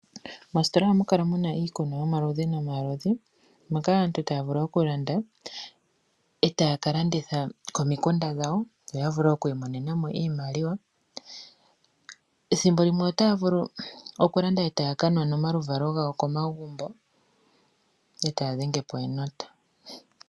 Moositola ohamu kala muna iikunwa yomaludhi nomaludhi. Moka aantu taya vulu okulanda etaya kalanditha komikunda dhawo yo ya vule okwiimonena mo iimaliwa, thimbolimwe otaya vulu okulanda etaya kanwa nomaluvalo gawo komagumbo etaya dhenge po enota.